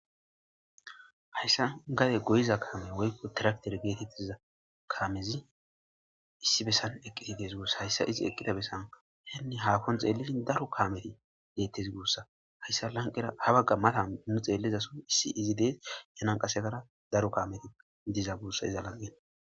Hayssan gadde gogiza kamme woykko tilaktere kamezi issi besan eqidi dees gussa. Hayssa izzi eqiza bessan hahon xelishin daro kame bethess gussa hayssa habagara mathan nu xdaro kame dizess.